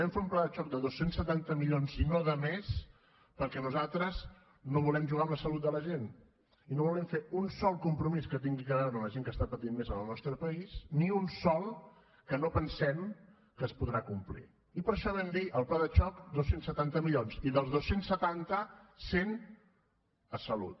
vam fer un pla de xoc de dos cents i setanta milions i no de més perquè nosaltres no volem jugar amb la salut de la gent i no volem fer un sol compromís que tingui a veure amb la gent que està patint més en el nostre país ni un sol que no pensem que es podrà complir i per això vam dir el pla de xoc dos cents i setanta milions i dels dos cents i setanta cent a salut